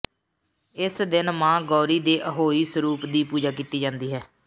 ਇਸ ਦਿਨ ਮਾਂ ਗੌਰੀ ਦੇ ਅਹੋਈ ਸਰੂਪ ਦੀ ਪੂਜਾ ਕੀਤੀ ਜਾਂਦੀ ਹੈ